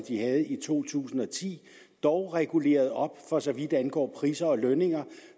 de havde i to tusind og ti dog reguleret op for så vidt angår priser og lønninger